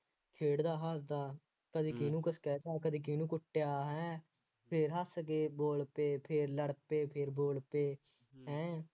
ਖੇਡਦਾ ਹੱਸਦਾ ਕਦੀ ਕਿਹਨੂੰ ਕੁੱਛ ਕਹਿ ਦਿੱਤਾ, ਕਦੀ ਕਿਹਨੂੰ ਕੁੱਛ ਕਿਹਾ, ਹੈਂ, ਫੇਰ ਹੱਸ ਕੇ ਬੋਲ ਪਏ ਫੇਰ ਲੜ ਪਏ, ਫੇਰ ਬੋਲ ਪਏ, ਹੈਂ,